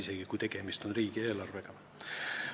Isegi siis, kui tegemist on riigieelarvega.